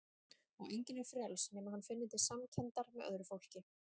Og enginn er frjáls nema hann finni til samkenndar með öðru fólki.